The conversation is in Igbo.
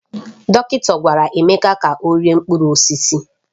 Dọkịta gwara Emeka ka ọ rie mkpụrụ osisi